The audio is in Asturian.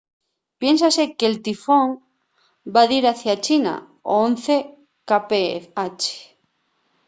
piénsase que'l tifón va dir hacia china a once kph